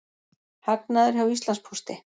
Hagnaður hjá Íslandspósti